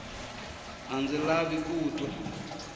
a ndzi lavi ku twa